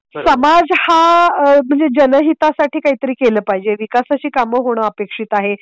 समाज हा म्हणजे जनहितासाठी काहीतरी केलं पाहिजे. विकासाची कामं होणं अपेक्षित आहे.